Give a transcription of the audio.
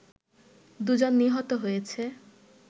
দু'জন নিহত হয়েছে